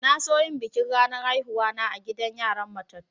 Na so yin bikin ranar haihuwa na a'gidan yaran matatu.